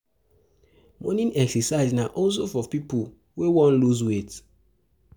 Morning exercise na also for pipo wey won loose weight